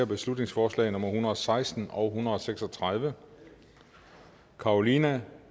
beslutningsforslag nummer hundrede og seksten og hundrede og seks og tredive carolina